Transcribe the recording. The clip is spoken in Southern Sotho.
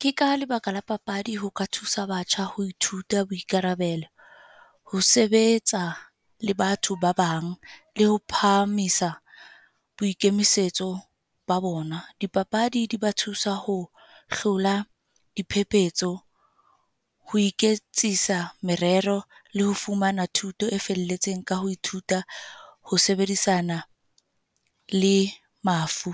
Ke ka lebaka la papadi ho ka thusa batjha ho ithuta boikarabelo. Ho sebetsa le batho ba bang, le ho phahamisa boikemisetso ba bona. Di papadi di ba thusa ho hlola diphephetso, ho iketsisa merero, le ho fumana thuto e felletseng ka ho ithuta ho sebedisana, le mafu.